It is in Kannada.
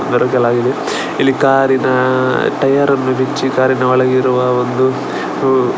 ಒರೆಸಲಾಗಿದೆ ಇಲ್ಲಿ ಕಾರಿನ ಟಯರನ್ನು ಬಿಚ್ಚಿ ಕಾರಿನ ಒಳಗಿರುವ ಒಂದು --